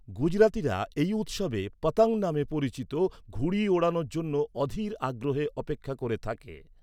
গুজরাতিরা এই উৎসবে 'পতং' নামে পরিচিত ঘুড়ি ওড়ানোর জন্য অধীর আগ্রহে অপেক্ষা করে থাকে।